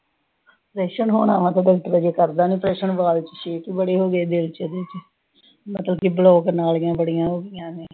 Operation ਹੋਣਾ ਵਾ, ਪਰ ਡਾਕਟਰ ਹਜੇ ਕਰਦਾ ਆਪ੍ਰੇਸ਼ਨ, ਛੇਕ ਬੜੇ ਹੋ ਗਏ ਆ, ਦਿਲ ਚ ਇਹਦੇ। ਬਲੌਕ ਨਾੜੀਆਂ ਬੜੀਆਂ ਹੋਗੀਆਂ ਨੇ।